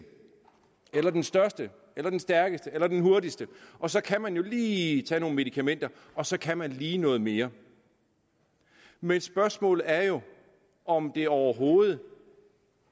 eller den største eller den stærkeste eller den hurtigste og så kan man jo lige tage nogle medikamenter og så kan man lige noget mere men spørgsmålet er jo om det overhovedet